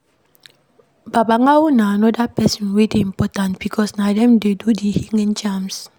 Babalawo na anoda person wey dey important because na dem dey do the healing charms